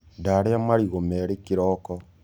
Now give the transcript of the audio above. Ndarĩa marĩgũ merĩ kĩroko.